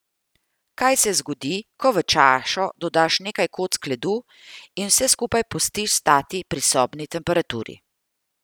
Kaj se zgodi, ko v čašo dodaš nekaj kock ledu in vse skupaj pustiš stati pri sobni temperaturi?